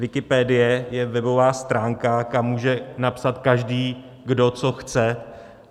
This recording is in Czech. Wikipedie je webová stránka, kam může napsat každý, kdo co chce.